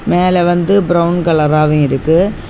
மேல வந்து பிரவுன் கலராவு இருக்கு.